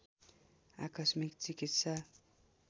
आकस्मिक चिकित्सा